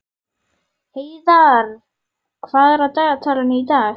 Heiðarr, hvað er á dagatalinu í dag?